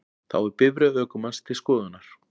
Þá er bifreið ökumanns til skoðunar